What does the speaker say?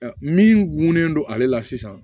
Min gunnen don ale la sisan